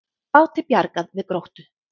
Báti bjargað við Gróttu